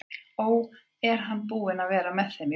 Ó, er hann búinn að vera með í þeim öllum?